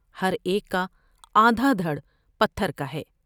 ہر ایک کا آدھا دھڑ پتھر کا ہے ۔